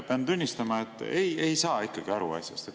Pean tunnistama, et ma ei saa asjast aru.